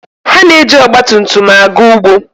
Ha na-eji ọgba tum tum aga ugbo.